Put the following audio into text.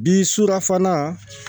Bi sukarafana